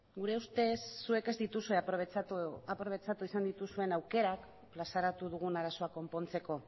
gure ustez zuek ez dituzue aprobetxatu izan dituzuen aukerak plazaratu dugun arazoa konpontzeko